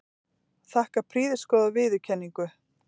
Þakka prýðisgóða viðkynningu.